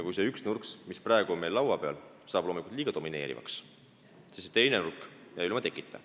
Kui see üks nurk, mis praegu on meil kõne all, saab liiga domineerivaks, siis teine nurk jääb ilma tekita.